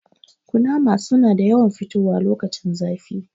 Kunnama su na yawan fitowa lokacin zafi